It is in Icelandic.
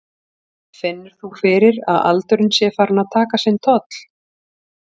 Finnur þú fyrir að aldurinn sé farinn að taka sinn toll?